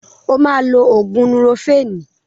O máa lo ògùn núrofénì.